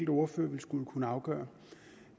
ordfører ville skulle afgøre